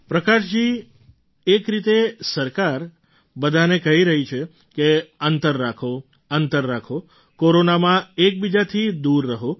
પ્રકાશજી એક રીતે સરકાર બધાને કહી રહી છે કે અંતર રાખો અંતર રાખો કોરોનામાં એકબીજાથી દૂર રહો